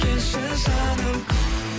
келші жаным